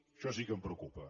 això sí que em preocupa